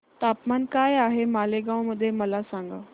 तापमान काय आहे मालेगाव मध्ये मला सांगा